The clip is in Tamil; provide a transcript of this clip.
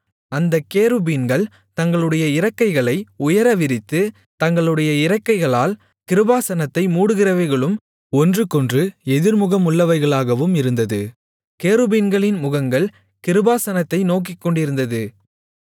அந்தக் கேருபீன்கள் தங்களுடைய இறக்கைகளை உயர விரித்து தங்களுடைய இறக்கைகளால் கிருபாசனத்தை மூடுகிறவைகளும் ஒன்றுக்கொன்று எதிர்முகமுள்ளவைகளாகவும் இருந்தது கேருபீன்களின் முகங்கள் கிருபாசனத்தை நோக்கிக்கொண்டிருந்தது